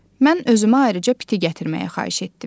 Mən özümə ayrıca piti gətirməyi xahiş etdim.